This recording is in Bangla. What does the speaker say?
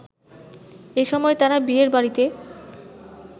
এ সময় তারা বিয়ের বাড়িতে